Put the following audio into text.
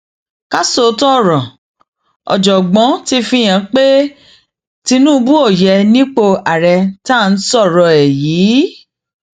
ká sòótọ ọrọ ọjọọgbọ ti fihàn pé tinubu ò yé nípò àárẹ tá à ń sọrọ ẹ yìí